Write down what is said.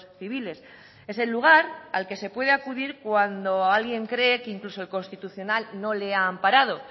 civiles es el lugar al que se puede acudir cuando alguien cree que incluso el constitucional no le ha amparado